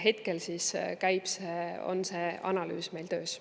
Hetkel on see analüüs meil töös.